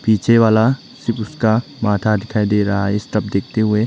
पीछे वाला सिर्फ उसका माथा दिखाई दे रहा है इस तब देखते हुए--